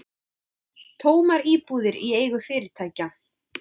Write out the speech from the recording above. Tómar íbúðir í eigu fyrirtækja